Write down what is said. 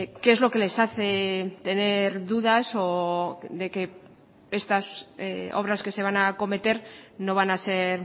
qué es lo que les hace tener dudas o de que estas obras que se van a acometer no van a ser